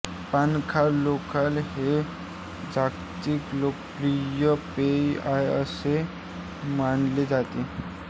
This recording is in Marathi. पाण्याखालोखाल हे जगातील लोकप्रिय पेय आहे असे मानले जाते